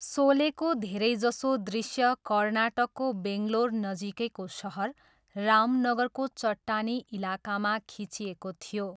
सोलेको धेरैजसो दृष्य कर्नाटकको बेङ्गलोर नजिकैको सहर रामनगरको चट्टानी इलाकामा खिचिएको थियो।